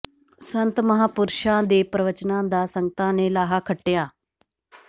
ਸੰਤ ਮਹਾਂਪੁਰਸ਼ਾਂ ਦੇ ਪ੍ਰਵਚਨਾਂ ਦਾ ਸੰਗਤਾਂ ਨੇ ਲਾਹਾ ਖੱਟਿਆ